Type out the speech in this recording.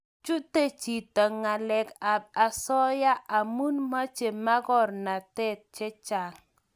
Chute chito ngalek ab asoya amu Mache magornatet chechang